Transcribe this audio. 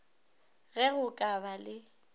ge go ka ba le